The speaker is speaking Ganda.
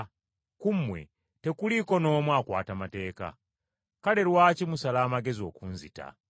Ku mmwe tekuliiko n’omu akwata mateeka. Kale lwaki musala amagezi okunzita?”